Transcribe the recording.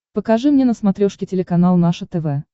покажи мне на смотрешке телеканал наше тв